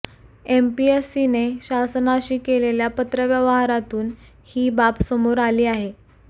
एमपीएससीने शासनाशी केलेल्या पत्रव्यवहारातून ही बाब समोर आली आहे